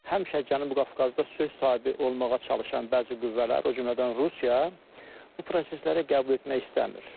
Həmişə Cənubi Qafqazda söz sahibi olmağa çalışan bəzi qüvvələr, o cümlədən Rusiya bu prosesləri qəbul etmək istəmir.